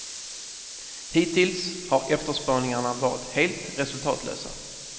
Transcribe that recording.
Hittills har efterspaningarna varit helt resultatlösa.